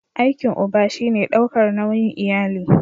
Aikin uba shi ne daukar nauyin iyali.